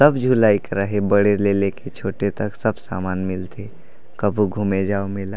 सब झूला एकरा हे बड़े ले ले के छोटे तक सब सामान मिलथे कभू घूमे जा मेला--